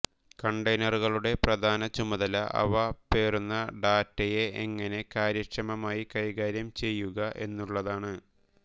കണ്ടെയ്നറുകളുടെ പ്രധാന ചുമതല അവ പേറുന്ന ഡാറ്റയെ എങ്ങനെ കാര്യക്ഷമമായി കൈകാര്യം ചെയ്യുക എന്നുള്ളതാണ്